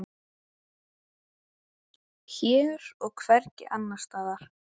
Hér og hvergi annars staðar.